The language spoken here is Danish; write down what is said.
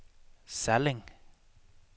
Salling